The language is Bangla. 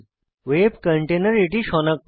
ওয়েব কন্টেনার এটি সনাক্ত করে